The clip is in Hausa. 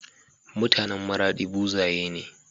MutAnan maradi buzaye ne